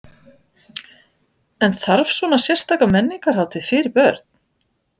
En þarf að hafa svona sérstaka menningarhátíð fyrir börn?